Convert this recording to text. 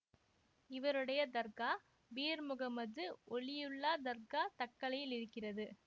இவருடைய தர்கா பீர் முகம்மது ஒலியுல்லா தர்கா தக்கலையில் இருக்கிறது